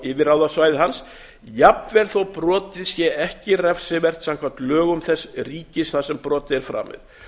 yfirráðasvæði hans jafnvel þó brotið sé ekki refsivert samkvæmt lögum þess ríkis þar sem brotið er framið